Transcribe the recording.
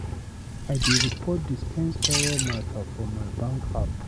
I dey report dispense error mata for my bank app.